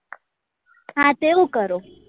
હા તે એવું કરો